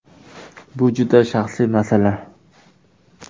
Bu juda shaxsiy masala.